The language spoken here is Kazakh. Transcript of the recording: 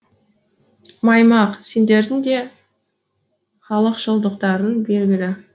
маймақ сендердің де халықшылдықтарың белгілі